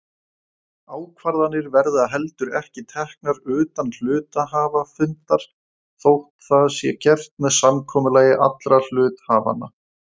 Ákvarðanir verða heldur ekki teknar utan hluthafafundar þótt það sé gert með samkomulagi allra hluthafanna.